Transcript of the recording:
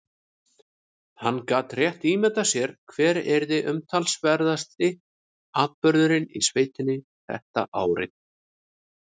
Hann gat rétt ímyndað sér hver yrði umtalaðasti atburðurinn í sveitinni þetta árið.